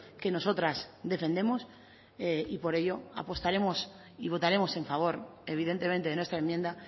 que nosotras defendemos y por ello apostaremos y votaremos en favor evidentemente de nuestra enmienda